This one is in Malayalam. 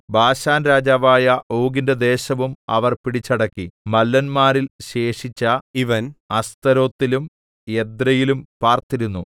ബാശാൻരാജാവായ ഓഗിന്റെ ദേശവും അവർ പിടിച്ചടക്കി മല്ലന്മാരിൽ ശേഷിച്ച ഇവൻ അസ്തരോത്തിലും എദ്രെയിലും പാർത്തിരുന്നു